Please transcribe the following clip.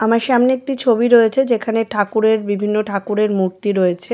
আমার সামনে একটি ছবি রয়েছে যেখানে ঠাকুরের বিভিন্ন ঠাকুরের মূর্তি রয়েছে।